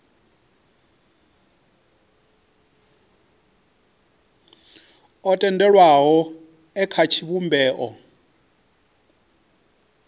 o tendelwaho e kha tshivhumbeo